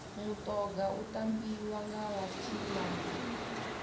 mutoga u tambiwa nga vha tshinnani